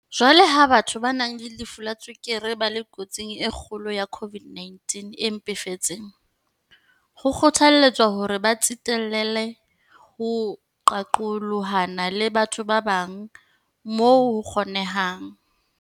Jwaloka ha batho ba nang le lefu la tswekere ba le kotsing e kgolo ya COVID-19 e mpefetseng, ho kgothalletswa hore ba tsitlallele ho qaqolohana le batho ba bang moo ho kgonehang.